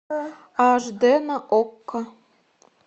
аш дэ на окко